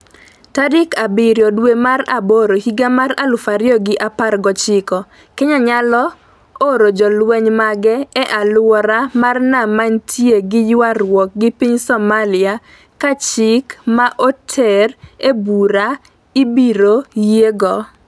tarik abiriyo dwe mar aboro higa mar aluf ariyo gi apar gochiko. Kenya nyalo oro jolweny mage e aluora mar nam manitie gi ywaruok gi piny Somalia ka chik ma oter e bura ibiro yiego